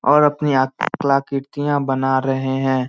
और अपनी कला कृतियां बना रहे है।